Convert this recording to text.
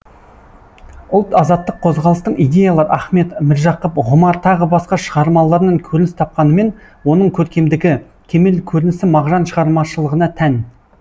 ұлт азаттық қозғалыстың идеялы ахмет міржақып ғұмар тағы басқа шығармаларынан көрініс тапқанымен оның көркемдігі кемел көрінісі мағжан шығармашылығына тән